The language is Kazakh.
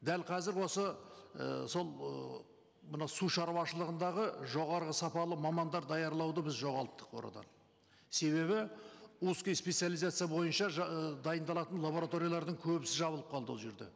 дәл қазір осы і сол ыыы мынау сушаруашылығындағы жоғарғы сапалы мамандар даярлауды біз жоғалттық ол арадан себебі узкая специализация бойынша ыыы дайындалатын лабораториялардың көбісі жабылып қалды ол жерде